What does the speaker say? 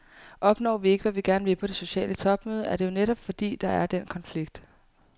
Opnår vi ikke, hvad vi gerne vil på det sociale topmøde, er det jo netop, fordi der er den konflikt.